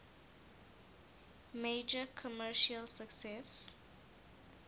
major commercial success